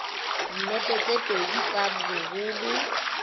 dinepe tse pedi tsa boholo